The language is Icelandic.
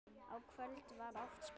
Á kvöldin var oft spilað.